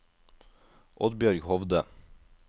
Oddbjørg Hovde